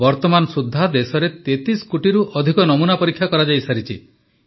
ବର୍ତ୍ତମାନ ସୁଦ୍ଧା ଦେଶରେ 33 କୋଟିରୁ ଅଧିକ ନମୁନା ପରୀକ୍ଷା କରାଯାଇସାରିଛି